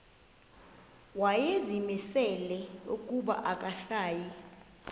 wayezimisele ukuba akasayi